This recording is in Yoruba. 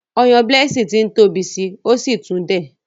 Oyan Blessing t'in tóbi sí, o sí tún dẹ̀.